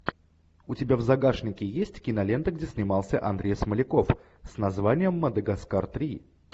у тебя в загашнике есть кинолента где снимался андрей смоляков с названием мадагаскар три